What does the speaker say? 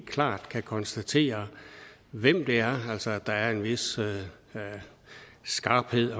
klart kan konstatere hvem det er altså at der er en vis skarphed